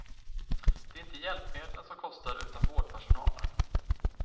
Det är inte hjälpmedlen som kostar utan vårdpersonalen.